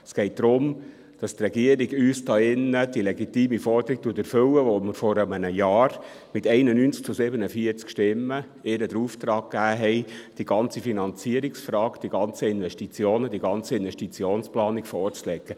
Es geht darum, dass die Regierung uns die legitime Forderung erfüllt, die wir vor einem Jahr mit 91 zu 47 Stimmen gestellt haben und ihr den Auftrag gegeben haben, die ganze Finanzierungsfrage, die ganzen Investitionen, die ganze Investitionsplanung vorzulegen.